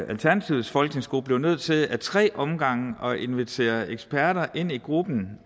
alternativets folketingsgruppe blev nødt til ad tre omgange at invitere eksperter ind i gruppen